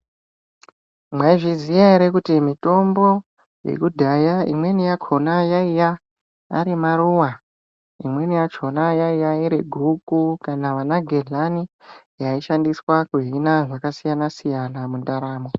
Mwaizviziya ere kuti mitombo yekudhaya imweni yakhona yaiya ari maruwa imweni yachona yaiya iri guku kana vanagedhlani yaishandiswa kuhina zvakasiyana-siyana mandaramo.